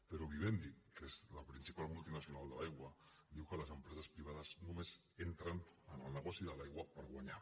però vivendi que és la principal multinacional de l’aigua diu que les empreses privades només entren en el negoci de l’aigua per guanyar